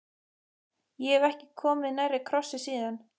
Ég hef ekki komið nærri krossi síðan.